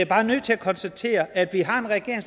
bare nødt til at konstatere at vi har en regering